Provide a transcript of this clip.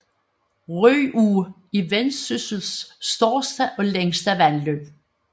Ryå er Vendsyssels største og længste vandløb